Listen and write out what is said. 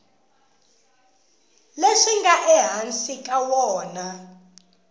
leswi nga ehansi ka wona